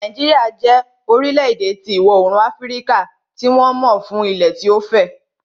Nàìjíríà jẹ́ orílẹ̀-èdè ti ìwọ oorùn tí wọ́n mọ ń fún ilẹ̀ tí ó fẹ̀